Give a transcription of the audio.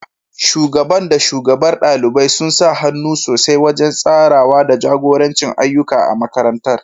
Shugaban da shugabar ɗalibai sun sa hannu sosai wajen tsarawa da jagoranci ayyuka a makarantar.